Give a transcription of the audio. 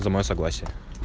за моё согласие